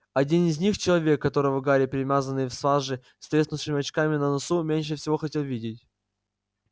один из них человек которого гарри перемазанный в саже с треснувшими очками на носу меньше всего хотел видеть